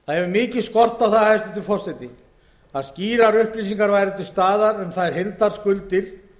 það hefur mikið skort á að skýrar upplýsingar væru til staðar um þær heildarskuldir